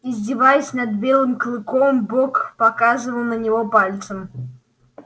издеваясь над белым клыком бог показывал на него пальцем